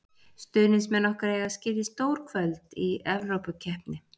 Stuðningsmenn okkar eiga skilið stór kvöld í Evrópukeppni.